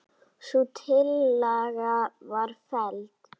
Sú tillaga var felld.